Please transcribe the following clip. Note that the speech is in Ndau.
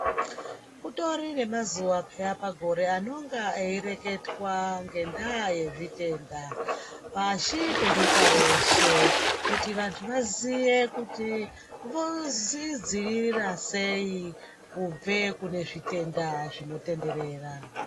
Kutori nemazuwa pheya pagore anonga eireketwa ngendaa yezvitenda pashi penyika yeshe, kuti vandhu vaziye kuti vozvidziirira sei kubve kune zvitenda zvinotenderera.